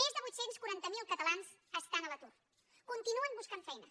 més de vuit cents i quaranta miler catalans estan a l’atur continuen buscant feina